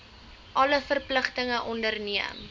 alle verpligtinge onderneem